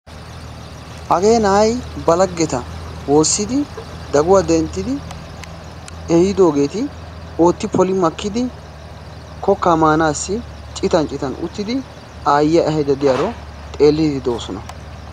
Hagee na'ay ba laggeta woossidi daguwa denttidi ehiidoogeeti ootti poli makkidi kokkaa maanaassi citan citan uttidi aayyiya ehaydda diyaro xeelliiddi doosona.